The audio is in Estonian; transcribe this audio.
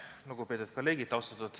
Lugupeetud kolleegid!